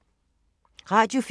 Radio 4